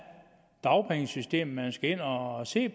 dagpengesystemet man skal ind og se